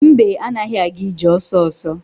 Mbe anaghị aga ije ọsọsọ.